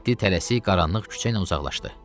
Mehdi tələsik qaranlıq küçə ilə uzaqlaşdı.